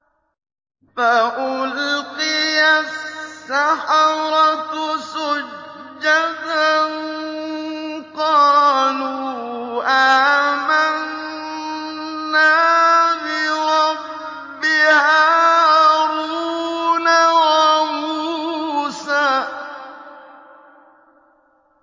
فَأُلْقِيَ السَّحَرَةُ سُجَّدًا قَالُوا آمَنَّا بِرَبِّ هَارُونَ وَمُوسَىٰ